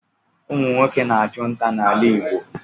Ụmụ nwoke na-achụ ntá n'ala Igbo.